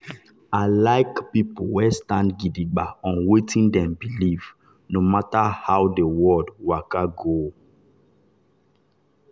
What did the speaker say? i like people wey stand gidigba on wetin dem believe no matter how the world waka go.